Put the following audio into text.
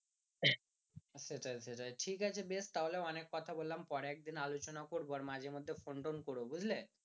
সেইটাই সেইটাই ঠিকাছে বেশ তাহলে অনেক কথা বললাম পরে একদিন আলোচনা করবো আর মাঝেমধ্যে ফোন টোন করো বুঝলে